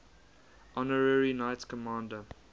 honorary knights commander